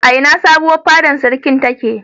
A ina sabuwar fadar sarki take?